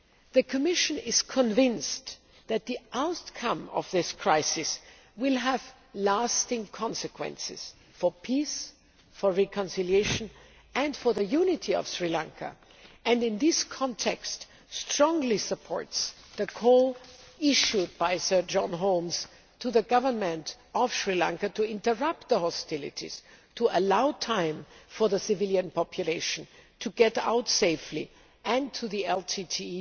The Commission is convinced that the outcome of this crisis will have lasting consequences for peace, for reconciliation and for the unity of Sri Lanka and, in this context, strongly supports the call issued by Sir John Holmes to the Government of Sri Lanka to interrupt hostilities to allow time for the civilian population to get out safely and to the LTTE